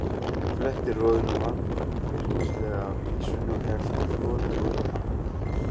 Fletti roðinu vandvirknislega af ýsunni og hellti floti út á hana.